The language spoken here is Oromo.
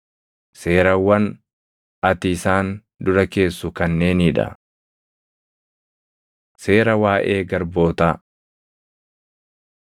“Seerawwan ati isaan dura keessu kanneenii dha: Seera Waaʼee Garbootaa 21:2‑6 kwf – KeD 15:12‑18 21:2‑11 kwi – Lew 25:39‑55